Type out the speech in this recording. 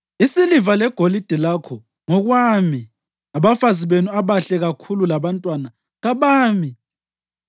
Isiliva legolide lakho ngokwami, abafazi benu abahle kakhulu labantwana ngabami.”